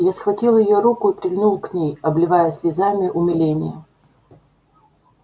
я схватил её руку и прильнул к ней обливая слезами умиления